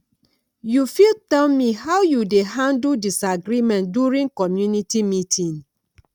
you fit tell me how you dey handle disagreement during community meeting